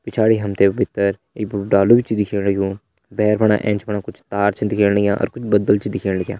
पिछाड़ी हम ते भितर एक बड़ु डालु भी छ दिखेण लग्युं भैर फणा एंच फणा कुछ तार छन दिखेण लग्यां अर कुछ बदल छन दिखेण लग्यां।